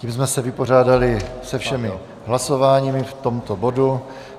Tím jsme se vypořádali se všemi hlasováními v tomto bodu.